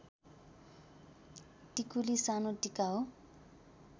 टिकुली सानो टीका हो